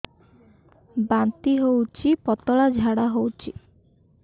ବାନ୍ତି ହଉଚି ପତଳା ଝାଡା ହଉଚି